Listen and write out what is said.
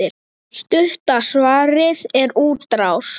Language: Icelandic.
Stutta svarið er útrás.